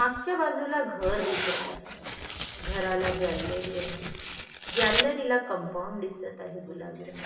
मागच्या बाजूला घर दिसत आहे घराला गॅलरी आहे गॅलरीला कंपाऊंड दिसत आहे गुलाबी रंग--